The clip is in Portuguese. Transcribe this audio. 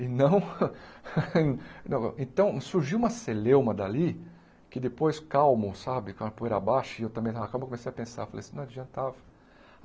E não não... Então, surgiu uma celeuma dali, que depois, calmo, sabe, com a poeira abaixo, e eu também, aquela calma, comecei a pensar, falei assim, não adiantava.